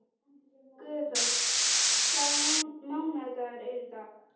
Guðþór, hvaða mánaðardagur er í dag?